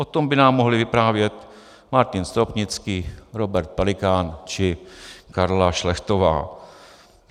O tom by nám mohli vyprávět Martin Stropnický, Robert Pelikán či Karla Šlechtová.